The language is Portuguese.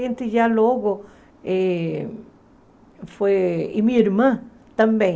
A gente já logo eh foi... E minha irmã também.